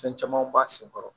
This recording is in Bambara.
Fɛn camanw b'a senkɔrɔ